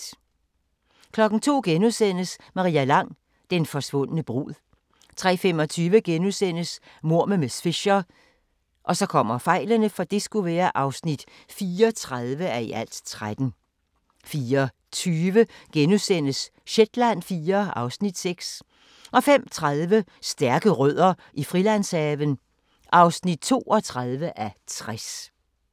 02:00: Maria Lang: Den forsvundne brud * 03:25: Mord med miss Fisher (34:13)* 04:20: Shetland IV (Afs. 6)* 05:30: Stærke Rødder i Frilandshaven (32:60)